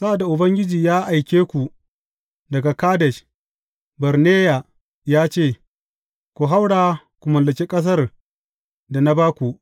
Sa’ad da Ubangiji ya aike ku daga Kadesh Barneya ya ce, Ku haura ku mallaki ƙasar da na ba ku.